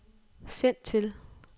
send til